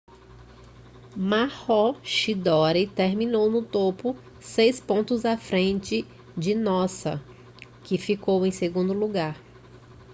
maroochydore terminou no topo seis pontos à frente de noosa que ficou em segundo lugar